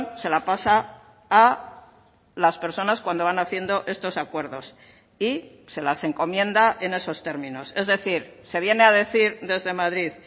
se la pasa a las personas cuando van haciendo estos acuerdos y se las encomienda en esos términos es decir se viene a decir desde madrid